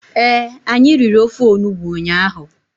Ee, anyị riri ofe onugbu ụnyaahụ.